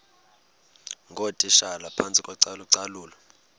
ngootitshala phantsi kocalucalulo